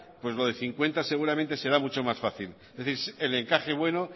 pues lo de cincuenta seguramente será mucho más fácil es decir el encaje bueno